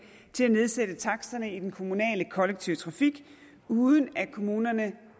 til at nedsætte taksterne i den kommunale kollektive trafik uden at kommunerne